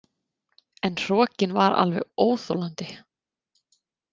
En hrokinn var alveg óþolandi.